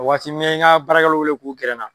O waati n ye n ka baarakɛlaw wele k'u gɛrɛ n na.